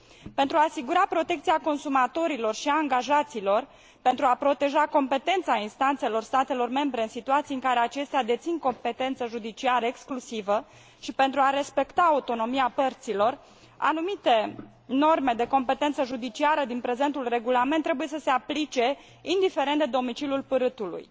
Pentru a asigura protecția consumatorilor și a angajaților, pentru a proteja competența instanțelor statelor membre în situații în care acestea dețin competență judiciară exclusivă și pentru a respecta autonomia părților, anumite norme de competență judiciară din prezentul regulament trebuie să se aplice indiferent de domiciliul pârâtului.